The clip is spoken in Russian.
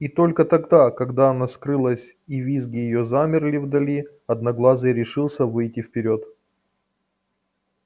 и только тогда когда она скрылась и визги её замерли вдали одноглазый решился выйти вперёд